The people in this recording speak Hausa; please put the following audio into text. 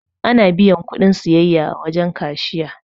Ana biyan kuɗin sayayya a wurin kashiya.